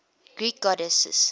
greek goddesses